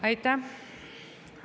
Aitäh!